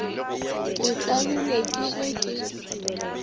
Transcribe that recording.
ke tlabilwe ke ge ke